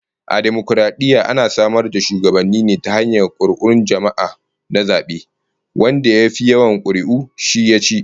A dimokaradiyya ana samar da shugabanni ne ta hanyar kuri'un jama'a na zabe, wanda ya fi yawan kuri'u shi yaci